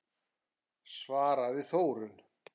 svaraði Þórunn.